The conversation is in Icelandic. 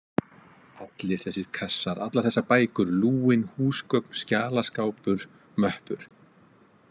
Allir þessir kassar, allar þessar bækur, lúin húsgögn, skjalaskápur, möppur.